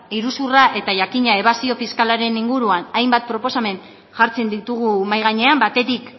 iruzurra eta jakina ebasio fiskalaren inguruan hainbat proposamen jartzen ditugu mahai gainean batetik